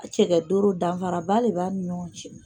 A cɛlɛ doro danfaraba de b'a ni ɲɔgɔn cɛ.